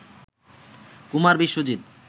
Kumar Biswajit